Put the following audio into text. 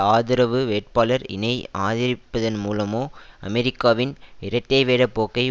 ஆதரவு வேட்பாளர் இனை ஆதரிப்பதன் மூலமோ அமெரிக்காவின் இரட்டைவேட போக்கை